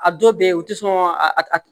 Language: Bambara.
A dɔw bɛ u tɛ sɔn a